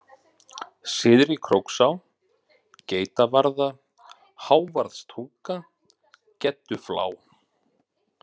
Syðri-Króksá, Geitavarða, Hávarðstunga, Gedduflá